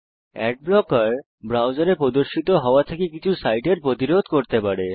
add blocker ব্রাউজারে প্রদর্শিত হওয়া থেকে কিছু সাইটের প্রতিরোধ করতে পারে